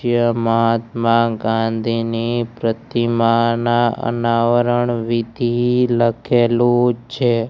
જે મહાત્મા ગાંધીની પ્રતિમાના અનાવરણ વિધિ લખેલુ છે.